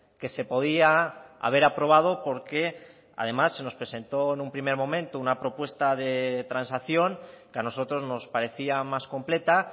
que se podía haber aprobado porque además se nos presentó en un primer momento una propuesta de transacción que a nosotros nos parecía más completa